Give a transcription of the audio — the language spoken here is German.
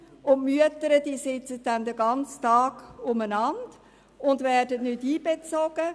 Die Mütter hingegen sitzen den ganzen Tag lang herum und werden nicht einbezogen.